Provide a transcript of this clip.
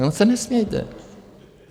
Jenom se nesmějte.